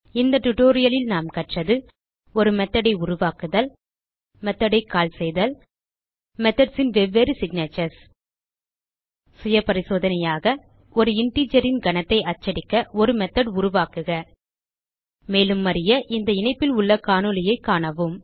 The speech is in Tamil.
இந்த tutorialலில் நாம் கற்றது ஒரு மெத்தோட் ஐ உருவாக்குதல் மெத்தோட் ஐ கால் செய்தல் methodsன் வேறுபட்ட சிக்னேச்சர்ஸ் சுய பரிசோதனையாக ஒரு இன்டிஜர் ன் கனத்தை அச்சடிக்க ஒரு மெத்தோட் உருவாக்குக மேலும் அறிய இந்த இணைப்பில் உள்ள காணொளியைக் காணவும்